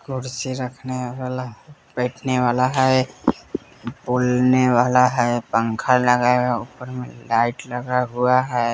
कुर्सी रखने वाला बैठने वाला है पोलने वाला है पंखा लगा है ऊपर में लाइट लगा हुआ है।